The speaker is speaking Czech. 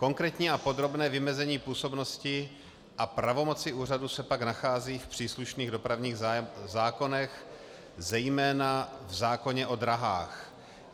Konkrétní a podrobné vymezení působnosti a pravomoci úřadu se pak nachází v příslušných dopravních zákonech, zejména v zákoně o dráhách.